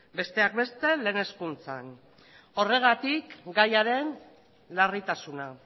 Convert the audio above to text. besteak beste lehen hezkuntzan horregatik gaiaren larritasuna